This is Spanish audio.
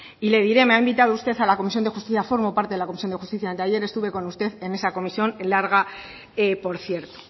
y le diré me ha invitado usted a la comisión de justicia formo parte de la comisión de justicia anteayer estuve con usted en esa comisión larga por cierto